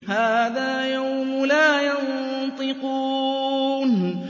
هَٰذَا يَوْمُ لَا يَنطِقُونَ